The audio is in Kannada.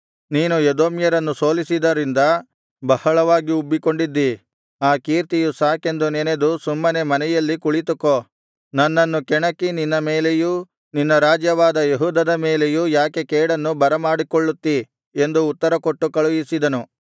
ನೀನು ಎದೋಮ್ಯರನ್ನು ಸೋಲಿಸಿದರಿಂದ ಬಹಳವಾಗಿ ಉಬ್ಬಿಕೊಂಡಿದ್ದೀ ಆ ಕೀರ್ತಿಯು ಸಾಕೆಂದು ನೆನದು ಸುಮ್ಮನೆ ಮನೆಯಲ್ಲಿ ಕುಳಿತುಕೋ ನನ್ನನ್ನು ಕೆಣಕಿ ನಿನ್ನ ಮೇಲೆಯೂ ನಿನ್ನ ರಾಜ್ಯವಾದ ಯೆಹೂದದ ಮೇಲೆಯೂ ಯಾಕೆ ಕೇಡನ್ನು ಬರಮಾಡಿಕೊಳ್ಳುತ್ತೀ ಎಂದು ಉತ್ತರ ಕೊಟ್ಟುಕಳುಹಿಸಿದನು